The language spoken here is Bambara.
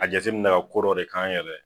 A jateminɛ ka ko dɔ de k'an yɛrɛ ye.